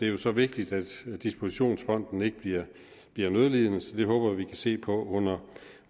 jo så vigtigt at dispositionsfonden ikke bliver nødlidende så det håber vi kan se på under